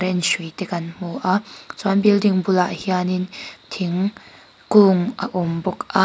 hrui te kan hmu a chuan building bulah hian thingkung a awm bawk a.